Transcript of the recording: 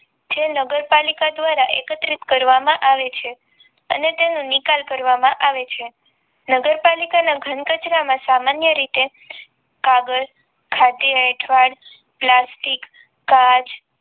જે નગરપાલિકા દ્ધારા એકત્રિત કરવા માં આવે છે અને તેનો નિકાલ કરવામાં આવે છે નગરપાલિકા ના ઘનકચરા માં સામાન્ય રીતે કાગળ જમેલો એઠવાડ પ્લાસ્ટિક કાચ